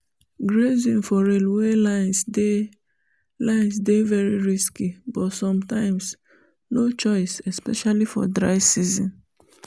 grazing for railway lines dey lines dey very risky but sometimes no choice especially for dry season